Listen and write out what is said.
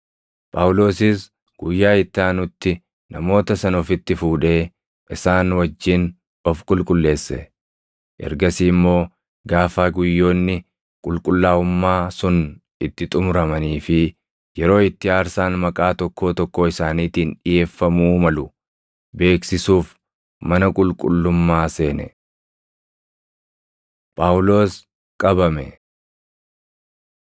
Phaawulosis guyyaa itti aanutti namoota sana ofitti fuudhee isaan wajjin of qulqulleesse; ergasii immoo gaafa guyyoonni qulqullaaʼummaa + 21:26 guyyoonni qulqullaaʼummaa – Yeroo guyyoota torbaanii kan itti namoonni afran sirna Naazirummaa guuttatan sun utuu akka aadaatti aarsaa dhiʼeessuuf jilaan hin qulqulleeffamin dura keessa darbuu malan argisiisa. sun itti xumuramanii fi yeroo itti aarsaan maqaa tokkoo tokkoo isaaniitiin dhiʼeeffamuu malu beeksisuuf mana qulqullummaa seene. Phaawulos Qabame